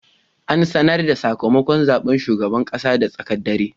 An sanar da sakamakon zaben shugaban kasa da tsaken dare.